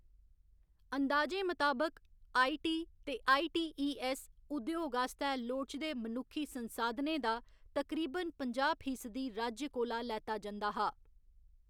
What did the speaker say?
अनदाजें मताबक, आई.टी. ते आई.टी.ई.ऐस्स. उद्योग आस्तै लोड़चदे मनुक्खी संसाधनें दा तकरीबन पंजाह्‌ फीसदी राज्य कोला लैता जंदा हा।